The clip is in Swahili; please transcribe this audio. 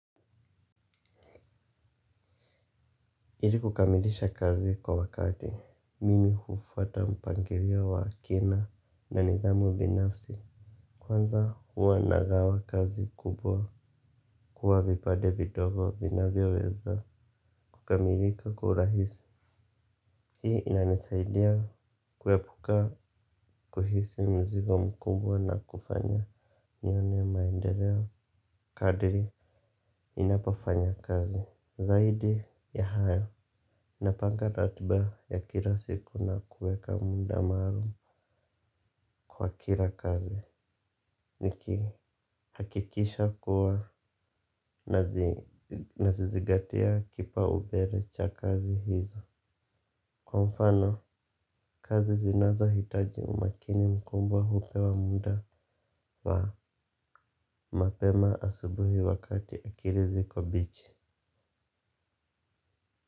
Ili kukamilisha kazi kwa wakati mimi hufata mpangilio wa kina na nidhamu binafsi. Kwanza huwa nagawa kazi kubwa kuwa vipade vidogo vinavyaweza kukamilika kwa urahisi. Hii inanisaidia kuepuka kuhisi mzigo mkubwa na kufanya nione maendeleo kadiri inapafanya kazi zaidi ya hayo. Napanga ratiba ya kila siku na kuweka muda maalum kwa kila kazi. Nikihakikisha kuwa nazizigatia kipaumbele cha kazi hizo. Kwa mfano, kazi zinazohitaji umakini mkubwa hupewa muda wa mapema asubuhi wakati akili ziko mbichi.